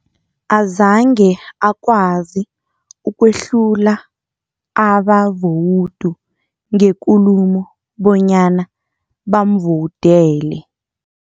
Azange akwazi ukwehlula abavowudu ngekulumo bonyana bamvowudele.